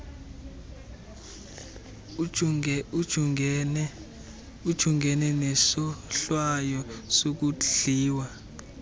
ujungene nesohlwayo sokudliwa